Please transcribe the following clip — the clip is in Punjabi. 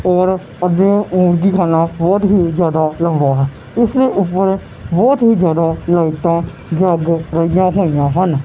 ਹੋਰ ਅੱਗੇ ਬੋਹੁਤ ਹੀ ਜਿਆਦਾ ਲੰਬਾ ਇਸ ਊਪਰ ਬੋਹੁਤ ਹੀ ਜਿਆਦਾ ਲਾਈਟਾਂ ਜੱਗ ਰਹੀਆਂ ਹੋਈ ਆਂ ਹਨ।